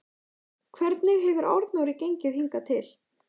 Hvernig hefur Arnóri gengið hingað til?